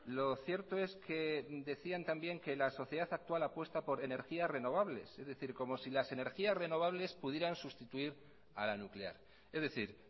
lo cierto es que decían también que la sociedad actual apuesta por energías renovables es decir como si las energías renovables pudieran sustituir a la nuclear es decir